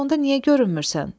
Bəs onda niyə görünmürsən?